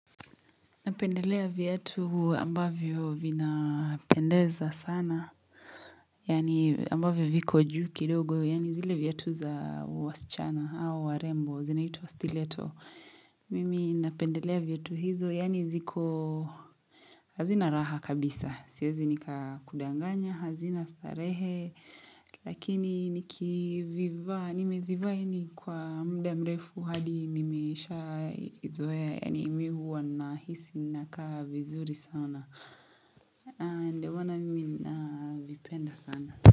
Napendelea viatu ambavyo vina pendeza sana. Yani ambavyo viko ju kidogo, yani zile viatu za wasichana hao warembo, zinaitwa stileto. Mimi napendelea viatu hizo, yaani ziko hazina raha kabisa. Siezi nika kudanganya, hazina starehe, lakini nikivivaa. Nimezivaa yaani kwa mda mrefu hadi nimeisha izoe yaani mihuwa na hisi naka vizuri sana. Ndio maana mimi na vipenda sana.